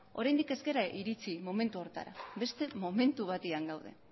oraindik ez gara iritsi momentu horretara beste momentu batean gaude